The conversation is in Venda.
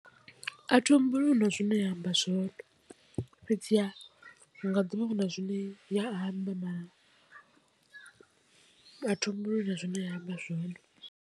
A thi humbuli huna zwine ya amba zwone, fhedziha hu nga ḓi vha hu na zwine ya a thi humbuli hu na zwine ya amba zwone.